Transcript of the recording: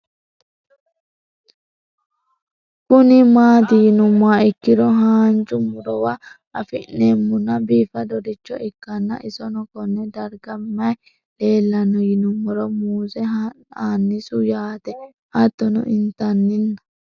Kuni mati yinumoha ikiro hanja murowa afine'mona bifadoricho ikana isino Kone darga mayi leelanno yinumaro muuze hanannisu yaate hatono intanina